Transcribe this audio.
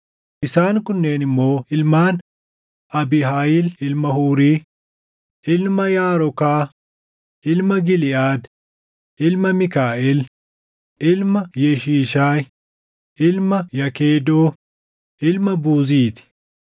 Isaan kunneen immoo ilmaan Abiihaayil ilma Huuri, ilma Yaarokaa, ilma Giliʼaad, ilma Miikaaʼel, ilma Yeshiishaayi, ilma Yakedoo, ilma Buuzii ti.